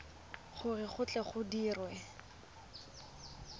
gore go tle go dirwe